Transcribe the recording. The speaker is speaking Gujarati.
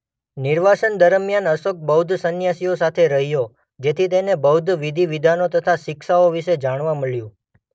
નિર્વાસન દરમિયાન અશોક બૌદ્ધ સન્યાસીઓ સાથે રહ્યો જેથી તેને બૌદ્ધ વિધિ-વિધાનો તથા શિક્ષાઓ વિશે જાણવા મળ્યું.